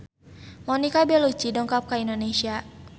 Monica Belluci dongkap ka Indonesia